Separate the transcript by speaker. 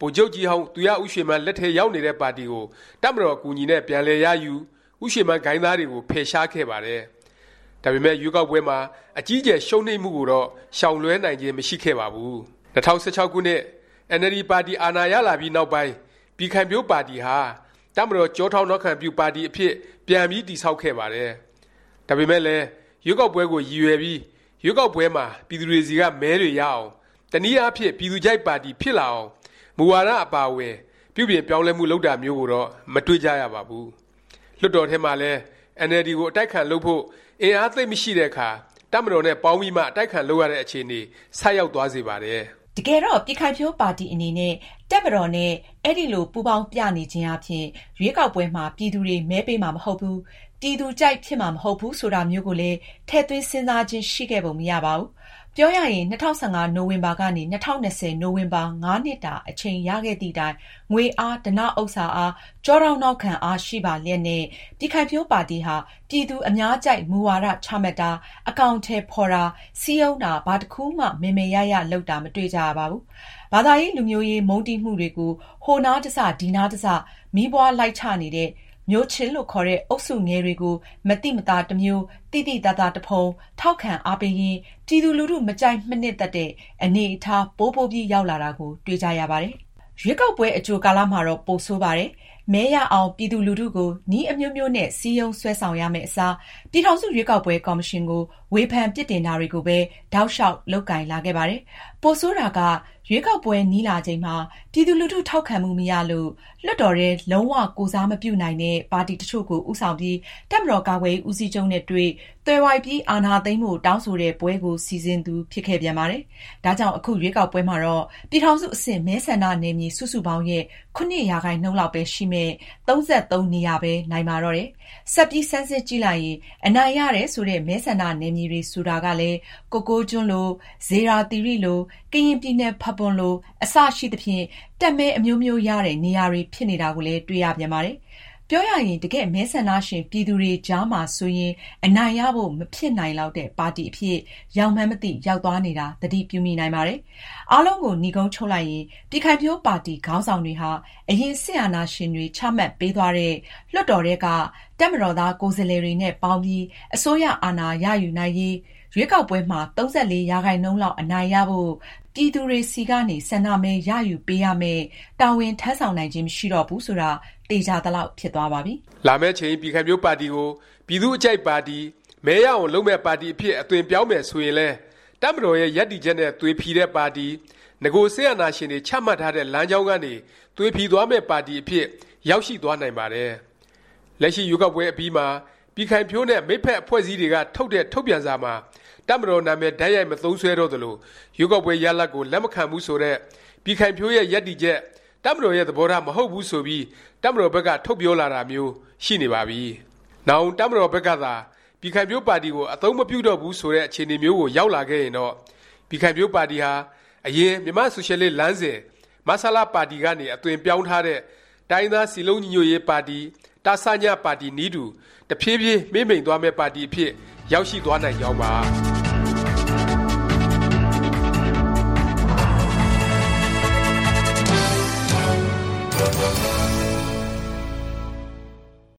Speaker 1: ဗိုလ်ချုပ်ကြီးဟောင်း သူရဦးရွှေမန်း လက်ထဲရောက်နေတဲ့ ပါတီကို တပ်မတော် အကူအညီနဲ့ ပြန်လည်ရယူ၊ ဦးရွှေမန်းဂိုဏ်းသားတွေကို ဖယ်ရှားခဲ့ပါတယ်။ ဒါပေမယ့် ရွေးကောက်ပွဲမှာ အကြီးအကျယ် ရှုံးနိမ့်မှုကိုတော့ ရှောင်လွဲှနိုင်ခြင်း မရှိခဲ့ပါဘူး။ ၂၀၁၆ ခုနှစ် အင်န်အယ်လ်ဒီ ပါတီ အာဏာရလာပြီးနောက်ပိုင်း ပြည်ခိုင်ဖြိုးပါတီဟာ တပ်မတော် ကျောထောက်နောက်ခံပြု ပါတီအဖြစ် ပြန်ပြီး တည်ဆောက်ခဲ့ပါတယ်။ ဒါပေမယ့်လည်း ရွေးကောက်ပွဲကို ရည်ရွယ်ပြီး ရွေးကောက်ပွဲမှာ ပြည်သူတွေဆီက မဲတွေရအောင်၊ တနည်းအားဖြင့် ပြည်သူကြိုက်ပါတီ ဖြစ်လာအောင် မူဝါဒ အပါအဝင် ပြုပြင်ပြောင်းလဲမှု လုပ်တာမျိုးကိုတော့ မတွေ့ကြရပါဘူး။ လွှတ်တော်ထဲမှာလည်း အင်န်အယ်လ်ဒီကို အတိုက်အခံလုပ်ဖို့ အင်အား သိပ်မရှိတဲ့အခါ တပ်မတော်နဲ့ ပေါင်းပြီးမှ အတိုက်အခံ လုပ်ရတဲ့ အခြေအနေ ဆိုက်ရောက်သွားစေပါတယ်။
Speaker 2: တကယ်တော့ ပြည်ခိုင်ဖြိုးပါတီ အနေနဲ့ တပ်မတော်နဲ့ အဲလို ပူးပေါင်းပြနေခြင်းအားဖြင့် ရွေးကောက်ပွဲမှာ ပြည်သူတွေ မဲပေးမှာ မဟုတ်ဘူး၊ ပြည်သူကြိုက် ဖြစ်မှာ မဟုတ်ဘူး ဆိုတာမျိုးကိုလည်း ထည့်သွင်းစဉ်းစားခြင်း ရှိခဲ့ပုံ မရပါဘူး။ ပြောရရင် ၂၀၁၅ နိုဝင်ဘာ ကနေ ၂၀၂၀ နိုဝင်ဘာ ၅ နှစ်တာ အချိန်ရခဲ့သည့်တိုင် ငွေအား၊ ဓနဥစ္စာအား၊ ကျောထောက်နောက်ခံအား ရှိပါလျက်နဲ့ ပြည်ခိုင်ဖြိုးပါတီဟာ ပြည်သူအများကြိုက် မူဝါဒ ချမှတ်တာ၊ အကောင်အထည် ဖော်တာ၊ စည်းရုံးတာ ဘာတစ်ခုမှ မယ်မယ်ရရ လုပ်တာ မတွေ့ကြရပါဘူး။ ဘာသာရေး လူမျိုးရေး မုန်းတီးမှုတွေကို ဟိုနားတစ်စ ဒီနားတစ်စ မီးပွားလိုက်ချနေတဲ့ မျိုးချစ်လို့ ခေါ်တဲ့ အုပ်စုငယ်တွေကို မသိမသာ တစ်မျိုး သိသိသာသာ တစ်ဖုံ ထောက်ခံအားပေးရင်း ပြည်သူလူထု မကြိုက် မနှစ်သက်တဲ့ အနေအထား ပိုပိုပြီး ရောက်လာတာကိုပဲ တွေ့ကြရပါတယ်။ ရွေးကောက်ပွဲ အကြိုကာလမှာတော့ ပိုဆိုးပါတယ်။ မဲရအောင် ပြည်သူလူထုကို နည်းအမျိုးမျိုးနဲ့ စည်းရုံး ဆွဲဆောင်ရမယ့်အစား၊ ပြည်ထောင်စု ရွေးကောက်ပွဲ ကော်မရှင်ကို ဝေဖန် ပြစ်တင်တာတွေကိုပဲ တောက်လျောက် လုပ်ကိုင်လာခဲ့ပါတယ်။ ပိုဆိုးတာက ရွေးကောက်ပွဲ နီးလာချိန်မှာ ပြည်သူလူထု ထောက်ခံမှုမရလို့၊ လွှတ်တော်ထဲ လုံး၀ ကိုယ်စားမပြုနိုင်တဲ့ ပါတီတစ်ချို့ကို ဦးဆောင်ပြီး တပ်မတော် ကာကွယ်ရေး ဦးစီးချုပ်နဲ့ တွေ့၊ သွယ်ဝိုက်ပြီး အာဏာသိမ်းဖို့ တောင်းဆိုတဲ့ ပွဲကို စီစဉ်သူ ဖြစ်ခဲ့ပြန်ပါတယ်။ ဒါကြောင့် အခု ရွေးကောက်ပွဲမှာတော့ ပြည်ထောင်စု အဆင့် မဲဆန္ဒနယ်မြေ စုစုပေါင်းရဲ့ ၇% လောက်ပဲရှိမယ့် ၃၃ နေရာပဲ နိုင်ပါတော့တယ်။ ဆက်ပြီး ဆန်းစစ်ကြည့်လိုက်ရင် အနိုင်ရတယ် ဆိုတဲ့ မဲဆန္ဒနယ်မြေတွေ ဆိုတာကလည်း ကိုကိုးကျွန်းလို၊ ဇေယျာသီရိလို၊ ကရင်ပြည်နယ် ဖာပွန်လို အစရှိသဖြင့် တပ်မဲအမျိုးမျိုးရတဲ့ နေရာတွေ ဖြစ်နေတာကိုလည်း တွေ့ရပြန်ပါတယ်။ ပြောရရင် တကယ့် မဲဆန္ဒရှင် ပြည်သူတွေကြားမှာဆိုရင် အနိုင်ရဖို့ မဖြစ်နိုင်လောက်တဲ့ ပါတီအဖြစ် ရောက်မှန်းမသိ ရောက်သွားနေတာ သတိပြုမိနိုင်ပါတယ်။ အားလုံးကို နိဂုံးချုပ်လိုက်ရင် ပြည်ခိုင်ဖြိုးပါတီ ခေါင်းဆောင်တွေဟာ အရင် စစ်အာဏာရှင်တွေ ချမှတ်ပေးသွားတဲ့ လွှတ်တော်ထဲက တပ်မတော်သား ကိုယ်စားလှယ်တွေနဲ့ ပေါင်းပြီး အစိုးရအာဏာ ရယူနိုင်ရေး၊ ရွေးကောက်ပွဲမှာ ၃၄% လောက်အနိုင်ရဖို့ ပြည်သူတွေဆီကနေ ဆန္ဒမဲ ရယူပေးရမယ့် တာဝန် ထမ်းဆောင်နိုင်ခြင်း မရှိတော့ဘူး ဆိုတာ သေခြာသလောက် ဖြစ်သွားပါပြီ
Speaker 1: ။ လာမယ့်အချိန် ပြည်ခိုင်ဖြိုးပါတီကို ပြည်သူ့အကြိုက်ပါတီ၊ မဲရအောင် လုပ်မယ့် ပါတီအဖြစ် အသွင်ပြောင်းမယ် ဆိုရင်လည်း တပ်မတော်ရဲ့ ရပ်တည်ချက်နဲ့ သွေဖီတဲ့ ပါတီ၊ နဂို စစ်အာဏာရှင်တွေ ချမှတ်ထားတဲ့ လမ်းကြောင်းကနေ သွေဖီသွားမယ့် ပါတီအဖြစ် ရောက်ရှိ သွားနိုင်ပါတယ်။ လက်ရှိ ရွေးကောက်ပွဲ အပြီးမှာ ပြည်ခိုင်ဖြိုးနဲ့ မိတ်ဖက် အဖွဲ့အစည်းတွေက ထုတ်တဲ့ ထုတ်ပြန်စာမှာ တပ်မတော် နာမည် တိုက်ရိုက် မသုံးစွဲတော့သလို၊ ရွေးကောက်ပွဲ ရလာဒ်ကို လက်မခံဘူး ဆိုတဲ့ ပြည်ခိုင်ဖြိုးရဲ့ ရပ်တည်ချက်၊ တပ်မတော်ရဲ့ သဘောထား မဟုတ်ဘူး ဆိုပြီး တပ်မတော်ဘက်က ထုတ်ပြောလာတာမျိုး ရှိနေပါပြီ။ နောင် တပ်မတော်ဘက်ကသာ ပြည်ခိုင်ဖြိုးပါတီကို အသုံးမပြုတော့ဘူး ဆိုတဲ့ အခြေအနေမျိုးကို ရောက်လာခဲ့ရင်တော့ ပြည်ခိုင်ဖြိုးပါတီဟာ အရင် မြန်မာ့ဆိုရှယ်လစ်လမ်းစဉ် မဆလ ပါတီကနေ အသွင်ပြောင်းထားတဲ့ တိုင်းရင်းသား စည်းလုံးညီညွတ်ရေး တစည ပါတီနည်းတူ တဖြေးဖြေး မှေးမှိန်သွားမယ့် ပါတီအဖြစ် ရောက်ရှိသွားနိုင်ကြောင်းပါ။